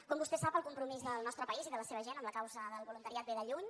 com vostè sap el compromís del nostre país i de la seva gent amb la causa del voluntariat ve de lluny